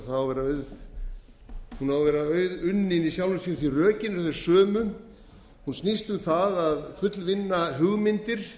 á að vera auðunnin í sjálfu sér því að rökin eru þau sömu hún snýst um það að fullvinna hugmyndir